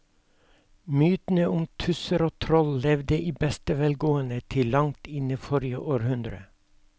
Mytene om tusser og troll levde i beste velgående til langt inn i forrige århundre.